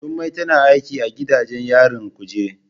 Jummai tana aiki a gidajen yarin kuje.